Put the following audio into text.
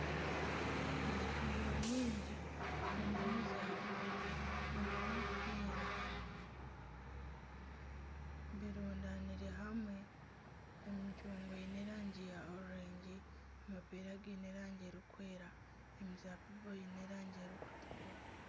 Emicungwa mingi na n'emizaabibu na n'amapeera birundanire hamwe emicungwa eine erangi ya kicungwa, amapeera gaine erangi erikwera, emizaabibu eine erangi erikutuukura.